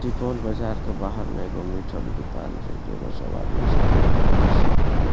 सुपौल बाजार के बाहर में एगो मीट ह के दुकान छै जे मे सब आदमी सब मीट मांस सब खरीद --